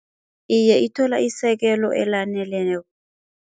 Iye ithola isekelo elaneleneko.